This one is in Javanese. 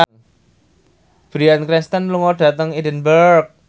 Bryan Cranston lunga dhateng Edinburgh